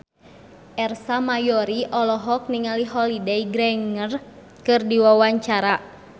Ersa Mayori olohok ningali Holliday Grainger keur diwawancara